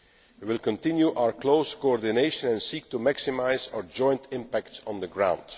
We will continue our close coordination and seek to maximise our joint impact on the ground.